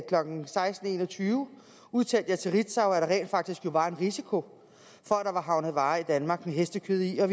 klokken seksten en og tyve udtalte jeg til ritzau at der rent faktisk jo var en risiko for at der var havnet varer i danmark med hestekød i og